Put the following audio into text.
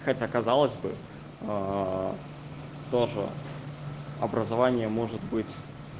хотя казалось бы тоже образование может быть